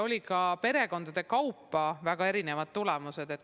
Ka peredesiseselt olid väga erinevad tulemused.